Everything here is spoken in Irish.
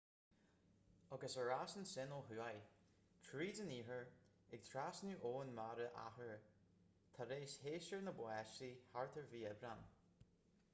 agus ar ais ansin ó thuaidh tríd an iarthar ag trasnú abhainn mara athuair tar éis shéasúr na báistí thart ar mhí aibreáin